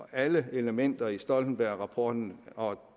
alle elementer i stoltenbergrapporten og